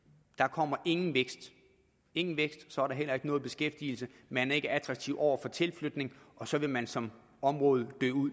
kommer ingen vækst ingen vækst så er der heller ikke nogen beskæftigelse man er ikke attraktiv over for tilflytning og så vil man som område